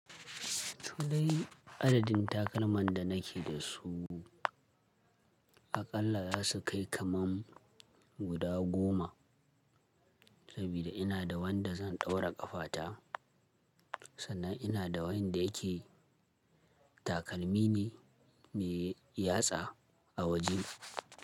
To dai, adadin takalman da nake da su aƙalla za su kai kaman guda goma, sabida ina da wanda zan ɗaura ƙafata, sannan ina da wanda yake, takalmi ne mai yatsa a waje.